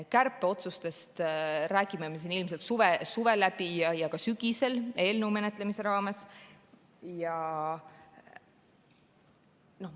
Kärpeotsustest räägime me siin ilmselt suve läbi ja ka sügisel eelnõu menetlemise raames.